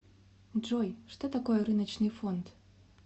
джой что такое рыночный фонд